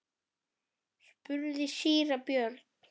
spurði síra Björn.